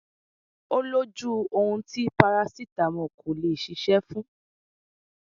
Ó lójú ohun tí parasítámọ̀ kò lè ṣiṣẹ́ fún